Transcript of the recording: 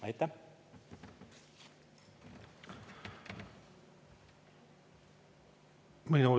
Aitäh!